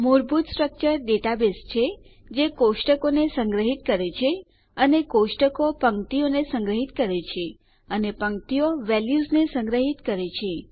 મૂળભૂત structure database છે જે કોષ્ટકોને સંગ્રહિત કરે છે અને કોષ્ટકો પંક્તિઓને સંગ્રહિત કરે છે અને પંક્તિઓ વેલ્યુઝને સંગ્રહિત કરે છે